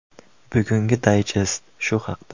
Bugungi dayjest shu haqda.